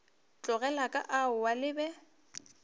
tlogile ka aowa le be